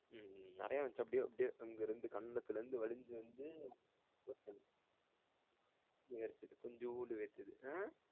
உம் நெறைய வந்துச்சி அப்படி அப்படி அங்க இருந்து கன்னத்துல இருந்து வழிஞ்சி வந்து கொண்ஜோன்டு வேர்த்தது அஹ்